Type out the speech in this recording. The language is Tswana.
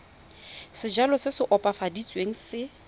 sejalo se se opafaditsweng se